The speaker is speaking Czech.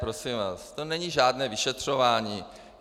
Prosím vás, to není žádné vyšetřování.